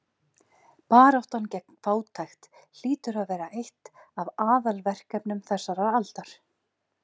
Baráttan gegn fátækt hlýtur að vera eitt af aðalverkefnum þessarar aldar.